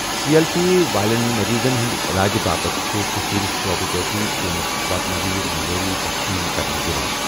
C L P والین مٔریضَن ہٕنٛدِ علاجہٕ باپتھ چھٗ كشیر شعبہٕ جٲتی ٹیمٗك واتناویر میٲری تسلیم كرنہٕ یوان ۔